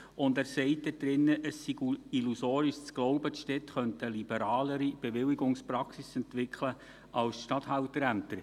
Er sagt darin, es sei illusorisch zu glauben, die Städte könnten eine liberalere Bewilligungspraxis entwickeln als die Statthalterämter.